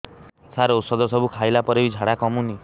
ସାର ଔଷଧ ସବୁ ଖାଇଲା ପରେ ବି ଝାଡା କମୁନି